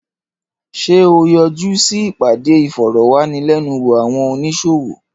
Ṣé o yọjú sí ìpàdé ìfòròwánilénuwò àwọn oníṣòwò?